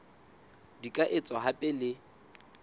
di ka etswa hape le